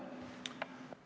Kas jah või ei?